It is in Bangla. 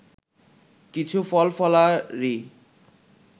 কিছু ফলফলারি